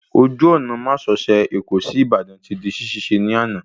Ojú ọ̀nà másosẹ̀ Èkó sí Ìbàdàn ti di ṣíṣe ní àná